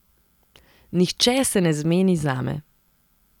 Nihče se ne zmeni zame.